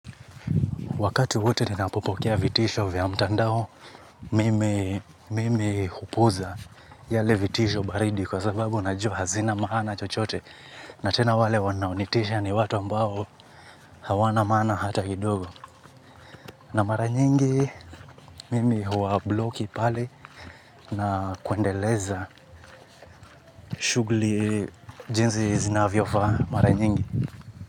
Wakati wote ninapopokea vitisho vya mtandao, mimi hupuuza yale vitisho baridi kwa sababu najua hazina maana chochote. Na tena wale wanaonitisha ni watu ambao hawana maana hata kidogo. Na mara nyingi, mimi huwabloki pale na kuendeleza shughuli. Jinsi zinavyofaa mara nyingi.